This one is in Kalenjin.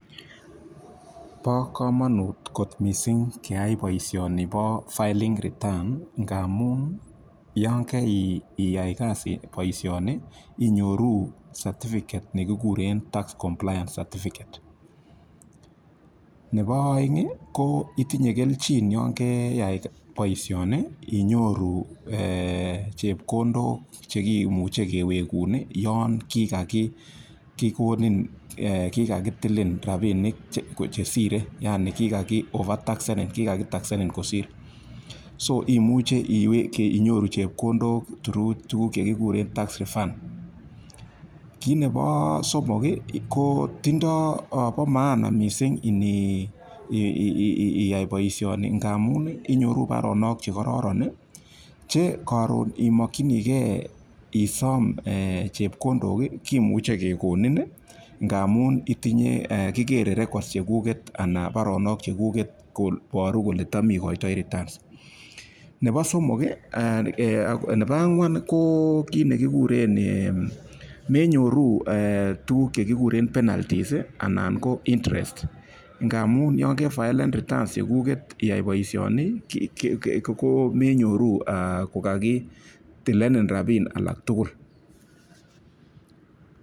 Bo komonut kot mising boishoni bo filing returns ngamun yon kaiyai kasit, boishoni inyoru certificate chekigure tax compliance certificate. Nebo oeng ko itinye kelchi yon keyai boishoni inyoru chepkondok chekimuchei kewekun yon kakitilin rapinik chesirei. Yani kikaki overtaxanin kikakitaxanin kosir. Imuche inyoru chepkondok through tukuk chekigure tax refund. Kit nebo somok ko bo maana mising ni iyai boishoni ngamun amun inyoru baronok chekororon che karon imokchinigei isom chepkondok kimuchei kekonin ngamun kikerei records chekuket koboru kole cham igoitoi returns. Nebo angwan ko menyoru tukuk chekigure penaltie anan ko interest ngamunyon kefilan retuns cheg'unget iyai boishoni ko menyoru kokakitilen rapinik alak tugul.